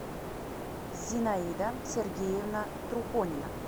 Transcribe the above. зинаида сергеевна трухонина